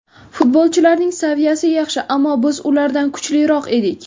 Futbolchilarning saviyasi yaxshi, ammo biz ulardan kuchliroq edik.